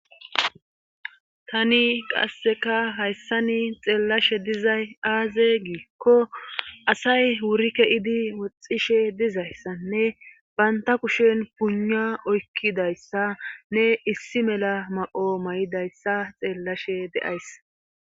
tani qasseka hayssani xeellashe dizay aaze giikko asay wuri keidi woxxishe dizayssanne banta kushen pugna oykkizayssa nne issi mela ma7o ma'izayssa xeellashe de'ays